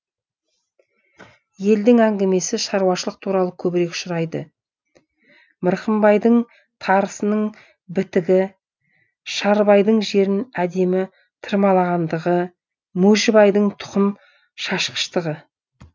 елдің әңгімесі шаруашылық туралы көбірек ұшырайды мырқымбайдың тарысының бітігі шарыбайдың жерін әдемі тырмалағандығы мойшыбайдың тұқым шашқыштығы